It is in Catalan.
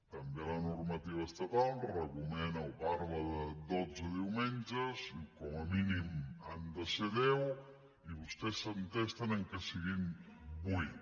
també la normativa estatal recomana o parla de dotze diumenges com a mínim han de ser deu i vostès s’entesten que siguin vuit